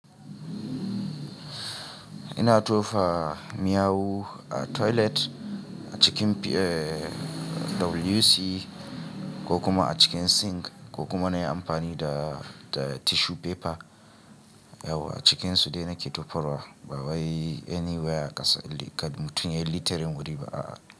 Ina tofa miyau a toilet a cikin WC ko kuma a cikin sink ko kuma na yi amfani da tissue paper. Yauwa a cikin su dai na ƙi tofarwa ba wai anywhere a kasa mutum ya yi littering wuri ba.